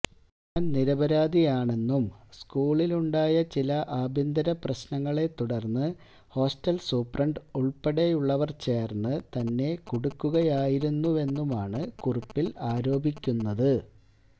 താന് നിരപരാധിയാണെന്നും സ്കൂളില് ഉണ്ടായ ചില ആഭ്യന്തരപ്രശ്നങ്ങളെ തുടര്ന്ന് ഹോസ്റ്റല് സൂപ്രണ്ട് ഉള്പ്പെടെയുള്ളവര് ചേര്ന്ന് തന്നെ കുടുക്കുകയായിരുന്നുവെന്നുമാണ് കുറിപ്പില് ആരോപിക്കുന്നത്